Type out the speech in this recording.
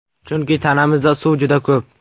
Chunki tanamizda suv juda ko‘p.